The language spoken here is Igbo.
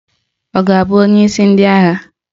Ọ ga-abụ onyeisi ndị agha?